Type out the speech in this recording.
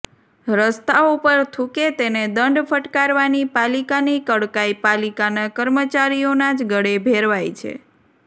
રસ્તા ઉપર થૂંકે તેને દંડ ફટકારવાની પાલિકાની કડકાઈ પાલિકાના કર્મચારીઓના જ ગળે ભેરવાઈ છે